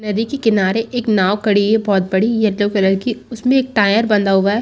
नदी के किनारे एक नॉव खड़ी है बहोत बड़ी यलो कलर की उसमे एक टायर बंधा हुआ है।